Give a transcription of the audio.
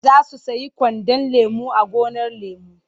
Za su siyo kwandon lemo a gonar lemo.